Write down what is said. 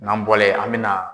N'an bɔla yen, an bɛ na